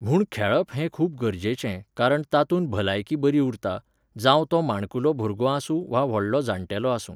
म्हूण खेळप हें खूब गरजेचें, कारण तातूंत भलायकी बरी उरता, जावं तो माणकुलो भुरगो आसूं वा व्हडलो जाण्टेलो आसूं